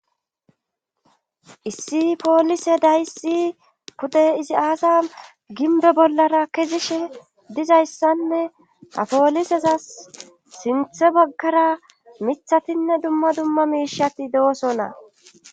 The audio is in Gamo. issi poolise dayssi pude izi aasa ginbe bollara kezishe dizayssanne ha pooliseza sinthe baggara mithatinne dumma dumma miishatti de7oso na